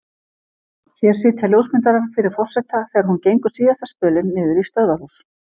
Hér sitja ljósmyndarar fyrir forseta þegar hún gengur síðasta spölinn niður í stöðvarhús.